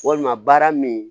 Walima baara min